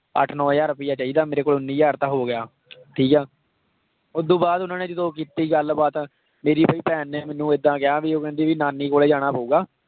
ਅੱਠ ਨੋਂ ਹਜ਼ਾਰ ਰੁਪਇਆ ਚਾਹੀਦਾ ਮੇਰੇ ਕੋਲ ਉੱਨੀ ਹਜ਼ਾਰ ਤਾਂ ਹੋ ਗਿਆ ਠੀਕ ਹੈ ਉਹ ਤੋਂ ਬਾਅਦ ਉਹਨਾਂ ਨੇ ਜਦੋਂ ਕੀਤੀ ਗੱਲਬਾਤ ਮੇਰੀ ਫਿਰ ਭੈਣ ਨੇ ਮੈਨੂੰ ਏਦਾਂ ਕਿਹਾ ਵੀ ਉਹ ਕਹਿੰਦੀ ਨਾਨੀ ਕੋਲ ਜਾਣਾ ਪਊਗਾ